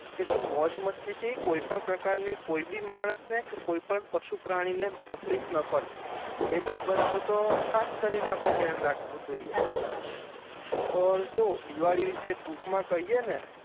કે જો મોજ મસ્તી થી કોઈ પણ પ્રકાર ની કોઈ બી માનસ ને કે કોઈ બી પશુ-પ્રાણી ને તકલીફ ન પડે હમ એ બાબત નુ તો ખાસ કરી ને આપડે ધ્યાન રાખવુ જોઈ ઔર જો દિવાળી વિશે ટૂંક મા કહીયે ને